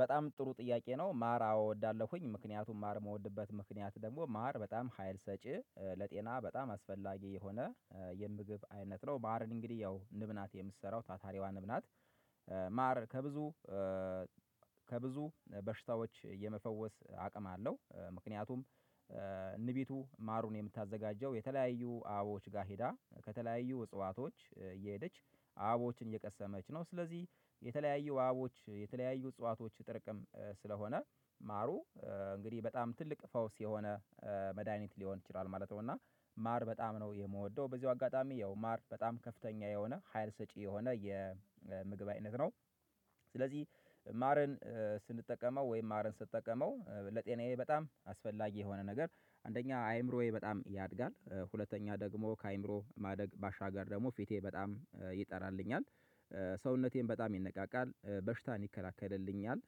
በጣም ጥሩ ጥያቄ ነው ማር አዎ እወዳለሁኝ ምክንያቱም ማር የምወድበት ምክንያት ደግሞ ማር በጣም ሀይል ሰጪ ለጤና በጣም አስፈላጊ የሆነ የምግብ አይነት ነው ማርን እንግዲህ ያው ንብ ናት የምትሰራው ታታሪዋ ንብ ናት። ማር ከብዙ ከብዙ በሽታዎች የመፈወስ አቅም አለው። ምክንያቱም ንቢቱ ማሩን የምታዘጋጀው የተለያዩ አበቦች ጋር ሄዳ ከተለያዩ እጽዋቶች እየሄደች አበቦችን እየቀሰመች ነው ስለዚህ የተለያዩ አበቦች የተለያዩ እጽዋቶች ጥርቅም ስለሆነ ማሩ እንግዲህ በጣም ትልቅ ፈውስ የሆነ መድሃኒት ሊሆን ይችላል ማለት ነው። እና ማር በጣም ነው የምወደው በዚሁ አጋጣሚ ያው ማር በጣም ከፍተኛ የሆነ ሀይል ሰጪ የሆነ የምግብ አይነት ነው። ስለዚህ ማርን ስንጠቀመው ወይም ማርን ስጠቀመው ለጤናዬ በጣም አስፈላጊ የሆነ ነገር አንደኛ አይምሮዬ በጣም ያድጋል ሁለተኛ ደግሞ ከአይምሮ ማደግ ባሻገር ደግሞ ፊቴ በጣም ይጠራልኛል ሰውነቴም በጣም ይነቃቃል በሽታን ይከላከልልኛል።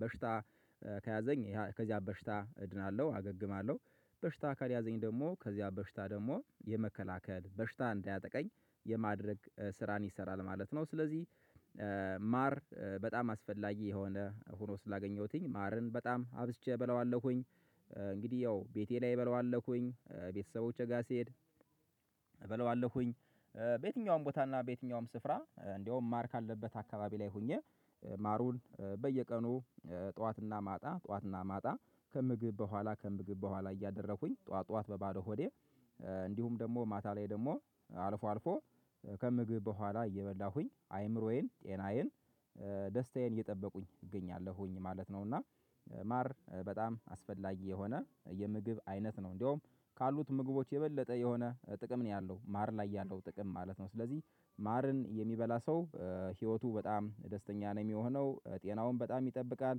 በሽታ ከያዘኝ ከዚያ በሽታ እድናለሁ አገግማለሁ በሽታ ካልያዘኝ ደግሞ ከዚያ በሽታ ደግሞ የመከላከል በሽታ እንዳያጠቃኝ የማድረግ ስራን ይሰራል ማለት ነው። ስለዚህ ማር በጣም አስፈላጊ የሆነ ሆኖ ስላገኘሁትኝ ማርን በጣም አብዝቼ በለዋለሁኝ። እንግዲህ ያው ቤቴ ላይ በለዋለሁኝ ቤተሰቦቼ ጋር ሲሄድ በለዋለሁኝ። በየትኛውም ቦታ እና በየትኛውም ስፍራ እንደውም ማርክ ካለበት አካባቢ ላይ ሆኜ ማሩን በየቀኑ ጠዋትና ማታ ጠዋትና ማታ ከምግብ በኋላ ከምግብ በኋላ እያደረኩኝ ጠዋት ጠዋት በባዶ ሆዴ። እንዲሁም ደግሞ ማታ ላይ ደግሞ አልፎ አልፎ ከምግብ በኋላ እየበላሁኝ አይምሮዬን ጤናዬን ደስታዬን እየጠበኩኝ እገኛለሁኝ ማለት ነው። እና ማር በጣም አስፈላጊ የሆነ የምግብ አይነት ነው እንደውም ካሉት ምግቦች የበለጠ የሆነ ጥቅም ነው ያለው ማር ላይ ያለው ጥቅም ማለት ነው። ስለዚህ ማርን የሚበላ ሰው ህይወቱ በጣም ደስተኛ ነው የሚሆነው ጤናውን በጣም ይጠብቃል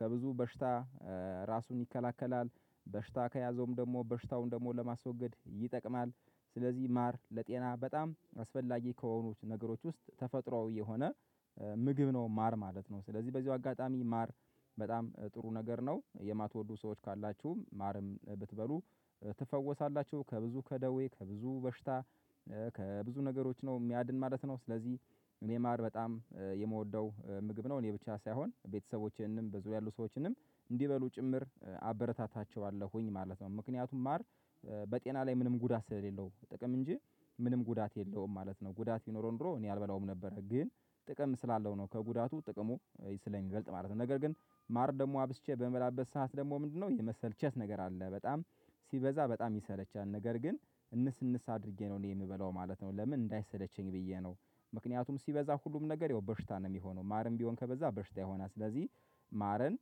ከብዙ በሽታ ራሱን ይከላከላል በሽታ ከያዘውም ደግሞ በሽታውን ደግሞ ለማስወገድ ይጠቅማል። ስለዚህ ማር ለጤና በጣም አስፈላጊ ከሆኑት ነገሮች ውስጥ ተፈጥሮአዊ የሆነ ምግብ ነው ማር ማለት ነው። ስለዚህ በዚሁ አጋጣሚ ማር በጣም ጥሩ ነገር ነው የማትወዱ ሰዎች ካላችሁ ማርም ብትበሉ ትፈወሳላችሁ ከብዙ ከደዌ ከብዙ በሽታ ከብዙ ነገሮች ነው የሚያድን ማለት ነው። ስለዚህ እኔ ማር በጣም የምወደው ምግብ ነው እኔ ብቻ ሳይሆን ቤተሰቦቼንም በዙሪያ ያሉ ሰዎችንም እንዲበሉ ጭምር አበረታታቸዋለሁኝ ማለት ነው። ምክንያቱም ማር በጤና ላይ ምንም ጉዳት ስለሌለው ጥቅም እንጂ ምንም ጉዳት የለውም ማለት ነው። ጉዳት ይኖረው እንደው እኔ አልበላውም ነበረ ግን ጥቅም ስላለው ነው ከጉዳቱ ጥቅሙ ስለሚበልጥ ማለት ነው። ነገር ግን ማር ደግሞ አብዝቼ በምበላበት ሰዓት ደግሞ ምንድነው? የመሰልቸት ነገር አለ በጣም ሲበዛ በጣም ይሰለቻል። ነገር ግን እንስ እንስ አድርጌ ነው እኔ የምበላው ማለት ነው። ለምን እንዳይሰለቸኝ ብዬ ነው ምክንያቱም ሲበዛ ሁሉም ነገር ያው በሽታ ነው። የሚሆነው ማርም ቢሆን ከበዛ በሽታ ይሆናል። ስለዚህ ማርን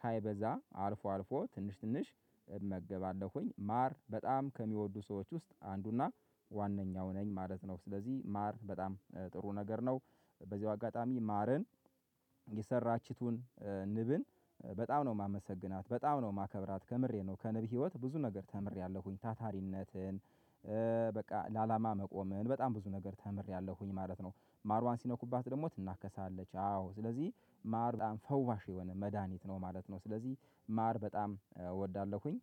ሳይበዛ አልፎ አልፎ ትንሽ ትንሽ እመገባለሁኝ ማር በጣም ከሚወዱ ሰዎች ውስጥ አንዱና ዋነኛው ነኝ ማለት ነው። ስለዚህ ማር በጣም ጥሩ ነገር ነው። በዚሁ አጋጣሚ ማርን የሰራችቱን ንብን በጣም ነው ማመሰግናት በጣም ነው ማከብራት ከምሬ ነው ከንብ ህይወት ብዙ ነገር ተምሬያለሁኝ ታታሪነትን። በቃ ለአላማ መቆምን በጣም ብዙ ነገር ተምሬያለሁኝ ማለት ነው። ማርዋን ሲነኩባት ደግሞ ትናከሳለች አዎ ስለዚህ ማር በጣም ፈዋሽ የሆነ መድሃኒት ነው ማለት ነው። ስለዚህ ማር በጣም እወዳለሁኝ